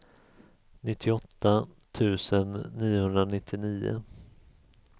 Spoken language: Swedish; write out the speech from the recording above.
nittioåtta tusen niohundranittionio